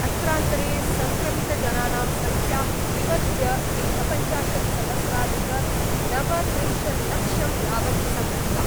अत्रान्तरे सङ्क्रमितजनानां संख्या विवर्ध्य एकपञ्चाशत्सहस्राधिकनवत्रिंशत्लक्षं यावत् संवृत्ता।